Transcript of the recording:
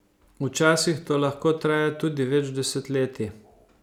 Včasih to lahko traja tudi več desetletij.